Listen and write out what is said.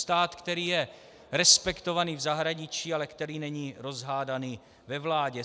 Stát, který je respektovaný v zahraničí, ale který není rozhádaný ve vládě.